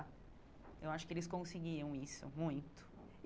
Eu acho que eles conseguiam isso, muito.